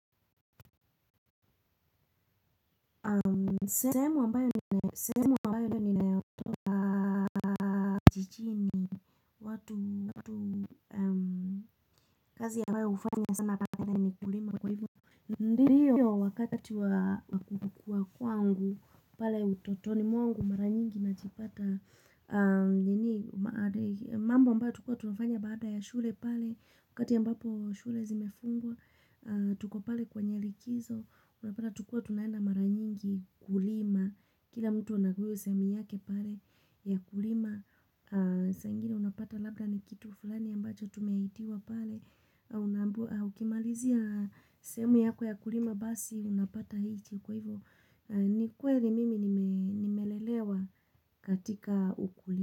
Sehemu ambayo ndio ninayo jijini watu kazi ambao hufanywa husema ni kulima kwa hivyo. Ndiyo wakati wa kukua kwangu pale utotoni mwangu mara nyingi najipata. Mambo ambayo tulikuwa tunafanya baada ya shule pale. Wakati ambapo shule zimefungwa. Tuko pale kwenye likizo. Unapata tulikuwa tunaenda mara nyingi kulima. Kila mtu anagawia sehemu yake pale. Ya kulima saa ingine unapata labda ni kitu fulani ambacho tumeitiwa pale na unaambiwa ukimalizia sehemu yako ya kulima basi unapata hiki Kwa hivyo ni kweli mimi nimelelewa katika ukulima.